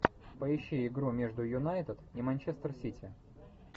поищи игру между юнайтед и манчестер сити